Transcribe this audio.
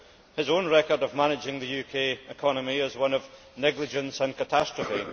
His own record of managing the UK economy is one of negligence and catastrophe.